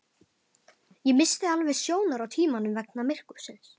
Ég missti alveg sjónar á tímanum vegna myrkursins